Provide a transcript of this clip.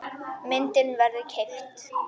Myndin verður keypt.